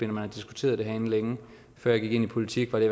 når man har diskuteret det herinde længe før jeg gik ind i politik var det